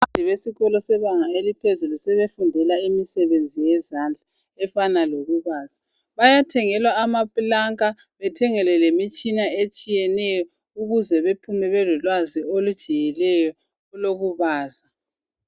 Abafundi besikolo sebanga eliphezulu sebefundela imisebenzi yezandla efana lokubaza .Bayathengelwa amapulanka bethengelwe lemitshina etshiyeneyo ukuze bephume belolwazi olujiyileyo olokubaza.